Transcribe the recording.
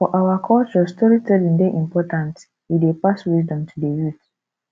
for our culture storytelling dey important e dey pass wisdom to the youth